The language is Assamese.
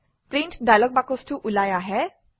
প্ৰিণ্ট ডায়লগ বাকচটো ওলাই আহে